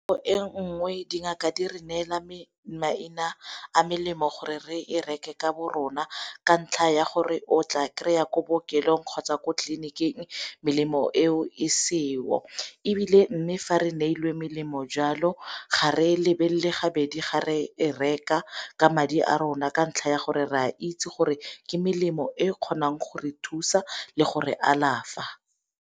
nngwe dingaka di re neela maina a melemo gore re e reke ka bo rona ka ntlha ya gore o tla kry-a ko bookelong kgotsa ko tleliniking melemo eo e seo, ebile mme fa re neelwe melemo jalo ga re lebelele gabedi ga re e reka ka madi a rona ka ntlha ya gore re a itse gore ke melemo e kgonang go re thusa le gore alafa.